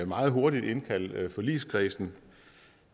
meget hurtigt indkalde forligskredsen